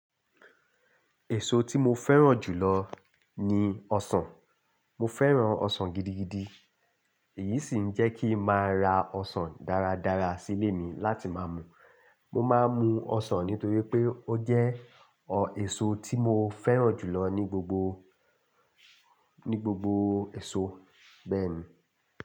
Èso tí mo fẹ́ràn jù lọ ni ọsàn. Mo fẹ́ràn ọsàn gidigidi. Èyí sì ń jẹ́ kí n máa ra ọsàn dáradára sílé mi láti máa mu. Mo máa ń mu ọsàn nítorí pé ó jẹ́ èso tí mo fẹ́ràn jù lọ ní gbogbo, ní gbogbo èso bẹ́ẹ̀ni.